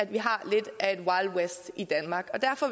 vi har lidt af et wild west i danmark og derfor